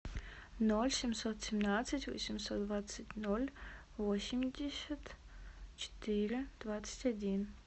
ноль семьсот семнадцать восемьсот двадцать ноль восемьдесят четыре двадцать один